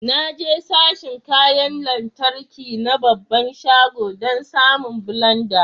Na je sashin kayan lantarki na babban shagon dan samon blenda.